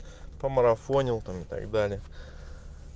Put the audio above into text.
помарафонил там и так далее